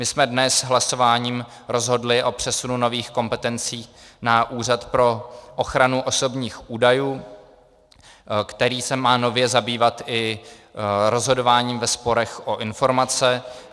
My jsme dnes hlasováním rozhodli o přesunu nových kompetencí na Úřad pro ochranu osobních údajů, který se má nově zabývat i rozhodováním ve sporech o informace.